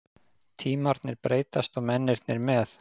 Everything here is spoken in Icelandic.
Tímarnir breytast og mennirnir með.